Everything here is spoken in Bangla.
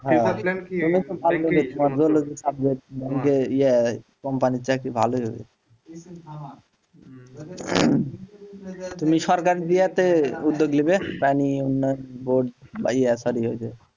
কোম্পানির চাকরি ভালোই হয়েছে তুমি সরকারি চাকরিতে উদ্যোগ নেবে তাই নিয়ে বোর্ড বা sorry ওই যে,